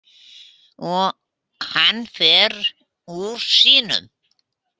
Hann fer úr sínum.